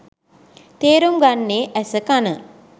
තේරුම් ගන්නේ ඇස කණ.